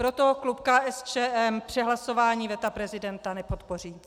Proto klub KSČM přehlasování veta prezidenta nepodpoří.